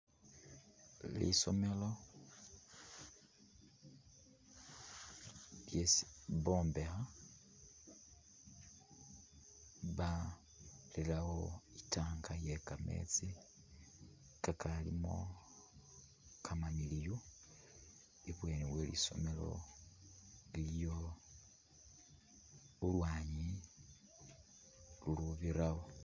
Lisomelo lyesi bombekha barirawo i'tank ye kameetsi kakalimo kamamiliyu ebweni we lisomelo iliyo ulwanyi lulubirawo.